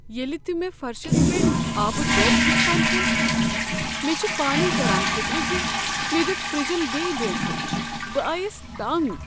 ییٚلہ تہ مےٚ فرشس پیٹھ آبہٕ دۄب وٕچھان چھس، مےٚ چھ پانے تران فکر ز مےٚ دیت فرجن بیٚیہ دونٛکھٕ۔ بہٕ آیس تنٛگ۔